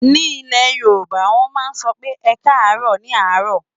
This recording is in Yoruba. Ní ilẹ̀ Yorùbá, wọ́n máa ń sọ pé "ẹkáàárọ̀" ní àárọ̀.